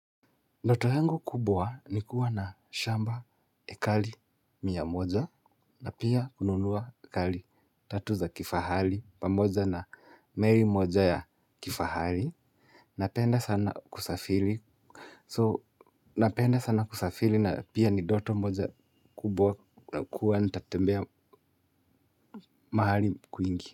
Ndoto yangu kubwa ni kuwa na shamba ekari mia moja na pia kununua ekari tatu za kifahari pamoja na meli moja ya kifahari. Napenda sana kusafiri. So, napenda sana kusafiri na pia ni ndoto moja kubwa kuwa nitatembea mahali kwingi.